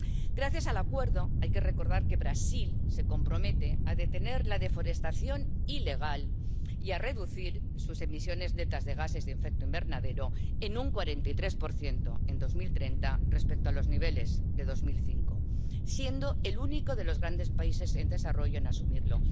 Hay que recordar que, gracias al Acuerdo, Brasil se compromete a detener la deforestación ilegal y a reducir sus emisiones netas de gases de efecto invernadero en un 43 en 2030 con respecto a los niveles de 2005, siendo el único de los grandes países en desarrollo en asumirlo.